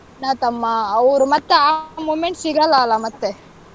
ಅಣ್ಣ, ತಮ್ಮ ಅವ್ರು ಮತ್ತೆ ಆ moment ಸಿಗಲ್ಲ ಅಲ್ಲಾ ಮತ್ತೆ.